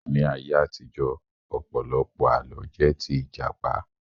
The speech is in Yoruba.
Ní ayé àtijọ́, ọ̀pọ̀lọpọ̀ Àlọ́ jẹ́ tí Ìjàpá